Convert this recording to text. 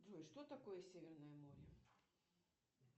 джой что такое северное море